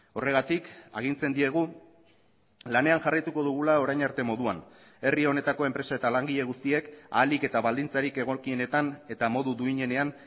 horregatik agintzen diegu lanean jarraituko dugula orain arte moduan herri honetako enpresa eta langile guztiek ahalik eta baldintzarik egokienetan eta modu duinenean